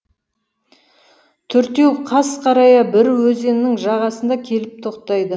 төртеуі қас қарая бір өзеннің жағасына келіп тоқтайды